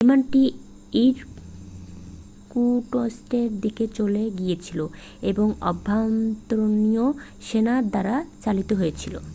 বিমানটি ইরকুটস্কের দিকে চলে গিয়েছিল এবং আভ্যন্তরীণ সেনা দ্বারা চালিত হয়েছিল